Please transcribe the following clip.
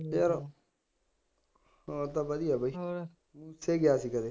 ਯਾਰ, ਹਾਲ ਤਾਂ ਵਧੀਆ ਬਾਈ, ਠੀਕ ਹੈ ਅੱਜ ਕੱਲ੍ਹ